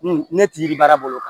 ne ti baara bolo kan